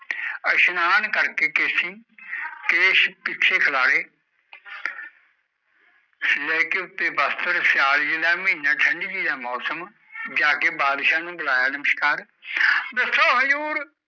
ਅਸ਼ਨਾਨ ਕਰਕੇ ਕੇਸੀ ਕੇਸ਼ ਪਿੱਛੇ ਬਿਖਰੇ ਲੈਕੇ ਉਤੇ ਬਸਤਰ ਸਿਆਲ ਜੀ ਦਾ ਮਿਹਣਾ ਠੰਡ ਜੀ ਦਾ ਮੌਸਮ ਜਾਕੇ ਬਧਸ ਨੂੰ ਬੁਲਾਇਆ ਦਸੋ ਹਜੂਰ